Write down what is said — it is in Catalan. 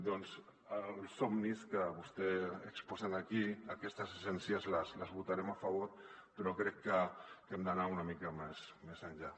doncs els somnis que vostè exposa aquí aquestes essències les votarem a favor però crec que hem d’anar una mica més enllà